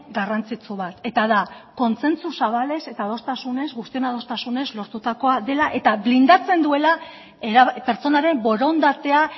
garrantzitsu bat eta da kontsentsu zabalez eta adostasunez guztion adostasunez lortutakoa dela eta blindatzen duela pertsonaren borondatea